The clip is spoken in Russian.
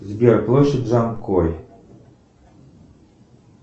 сбер площадь за окой